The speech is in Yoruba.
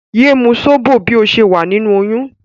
Yé mú sóbò bí o ṣe wà nínú oyún!